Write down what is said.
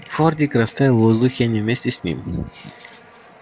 фордик растаял в воздухе и они вместе с ним